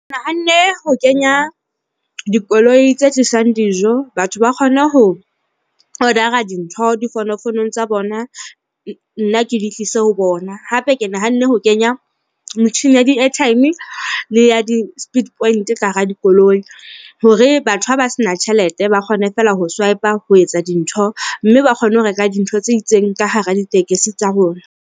Ke nahanne ho kenya dikoloi tse tlisang dijo. Batho ba kgone ho order-ra dintho difonofonong tsa bona nna ke di tlise ho bona, hape ke nahanne ho kenya motjhini ya di-airtime le ya di-speed point ka hara dikoloi hore batho ha ba se na tjhelete, ba kgone feela ho swipe-a ho etsa dintho mme ba kgone ho reka dintho tse itseng ka hara ditekesi tsa rona.